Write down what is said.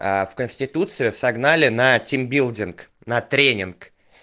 аа в конституциях согнали на тимбилдинг на тренинг